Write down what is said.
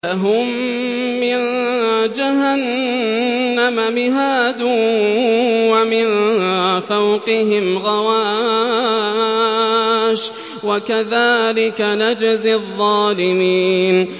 لَهُم مِّن جَهَنَّمَ مِهَادٌ وَمِن فَوْقِهِمْ غَوَاشٍ ۚ وَكَذَٰلِكَ نَجْزِي الظَّالِمِينَ